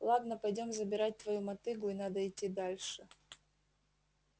ладно пойдём забирать твою мотыгу и надо идти дальше